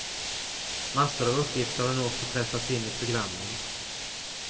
Massor av uppgifter har nu också pressats in i programmen.